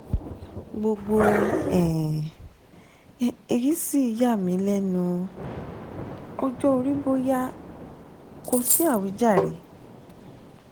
gbogbo um èyí sì yà um mí um lẹ́nu? ọjọ́ orí bóyá? kò sí àwíjàre